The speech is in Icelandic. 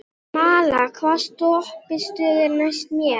Malla, hvaða stoppistöð er næst mér?